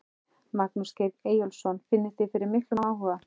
Magnús Geir Eyjólfsson: Finnið þið fyrir miklum áhuga?